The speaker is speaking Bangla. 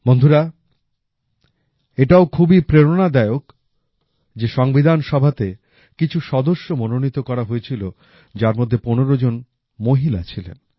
বন্ধুরা এটাও খুবই প্রেরণাদায়ক যে সংবিধানসভাতে কিছু সদস্য মনোনীত করা হয়েছিল যার মধ্যে ১৫ জন মহিলা ছিলেন